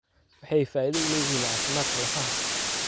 Waxay faa'iido u leeyihiin caafimaadka lafaha.